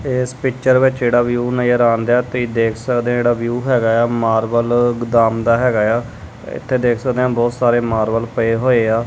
ਇਸ ਪਿਕਚਰ ਵਿੱਚ ਜਿਹੜਾ ਵਿਊ ਨਜ਼ਰ ਆਉਂਦਾ ਤੇ ਦੇਖ ਸਕਦੇ ਜਿਹੜਾ ਵਿਊ ਹੈਗਾ ਆ ਮਾਰਬਲ ਗੋਦਾਮ ਦਾ ਹੈਗਾ ਆ ਇਥੇ ਦੇਖ ਸਕਦੇ ਆ ਬਹੁਤ ਸਾਰੇ ਮਾਰਬਲ ਪਏ ਹੋਏ ਆ।